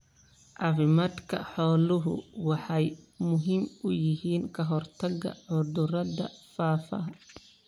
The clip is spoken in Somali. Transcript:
Caafimaadka xooluhu waxay muhiim u yihiin ka hortagga cudurrada faafa.